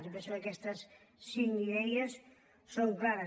jo penso que aquestes cinc idees són clares